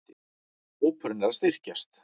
Hópurinn er að styrkjast.